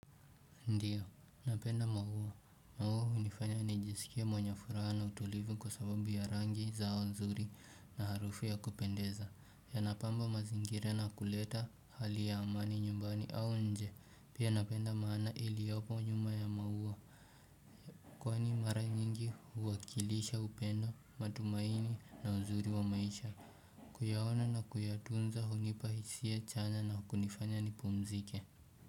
Ndiyo, napenda maua, maua hunifanya nijisikie mwenye furaha na utulivu kwa sababu ya rangi zao nzuri na harufu ya kupendeza, yanapamba mazingira na kuleta hali ya amani nyumbani au nje, pia napenda maana iliyopo nyuma ya maua Kwani mara nyingi huwakilisha upendo matumaini na uzuri wa maisha. Kuyaona na kuyatunza hunipa hisia chanya na kunifanya nipumzike.